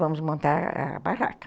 Vamos montar a a barraca.